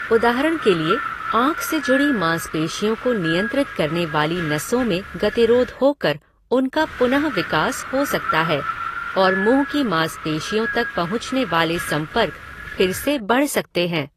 उदाहरण के लिए, आँख से जुड़ी मांसपेशियों को नियंत्रित करने वाली नसों में गतिरोध होकर उनका पुनः विकास हो सकता है और मुंह की मांसपेशियों तक पहुँचने वाले संपर्क फिर से बढ़ सकते हैं।